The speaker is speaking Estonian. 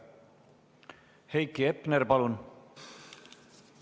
Heiki Hepner, palun!